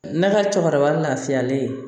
Ne ka cɛkɔrɔba lafiyalen